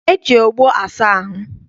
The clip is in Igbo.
E ji ogbo asa ahụ.